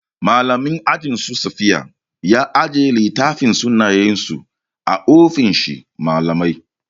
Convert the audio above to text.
Mallamin ajin su safiya ya ajiye littafin sunayensu a ofishin mallamai.